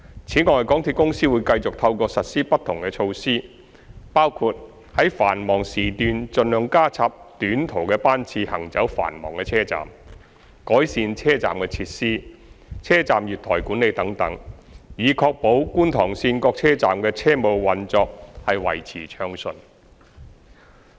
此外，港鐵公司會繼續透過實施不同措施，包括在繁忙時段盡量加插短途班次行走繁忙車站、改善車站設施、車站月台管理等，以確保觀塘綫各車站的車務運作維持暢順。